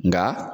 Nka